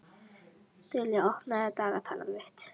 Dilja, opnaðu dagatalið mitt.